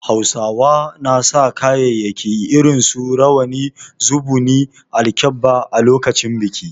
Hausawa na sa kayayyaki irin su Rawani, Zubuni, alkebba a lokacin biki.